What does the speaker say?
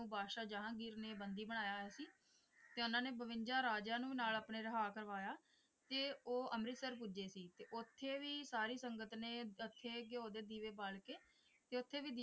ਬਾਦਸ਼ਾਹ ਜਹਾਂਗੀਰ ਨੇ ਬੰਦੀ ਬਣਾਇਆ ਹੋਇਆ ਸੀ ਤੇ ਉਨ੍ਹਾਂ ਨੇਂ ਬਵੰਜਾ ਰਾਜਿਆਂ ਨੂੰ ਵੀ ਨਾਲ ਆਪਣੇ ਰਿਹਾ ਕਰਵਾਇਆ ਤੇ ਉਹ ਅਮ੍ਰਿਤਸਰ ਪੁੱਜੇ ਸੀ ਤੇ ਉੱਥੇ ਵੀ ਸਾਰੀ ਸੰਗਤ ਨੇ ਦੇਸੀ ਘਿਓ ਦੇ ਦੀਵੇ ਬਾਲ ਕੇ ਤੇ ਉੱਥੇ ਵੀ,